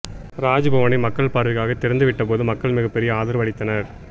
ராஜ்பவனை மக்கள் பார்வைக்காக திறந்து விட்ட போது மக்கள் மிகப்பெரிய ஆதரவு அளித்தனர்